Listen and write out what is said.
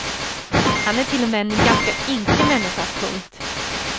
Han är till och med en ganska ynklig människa. punkt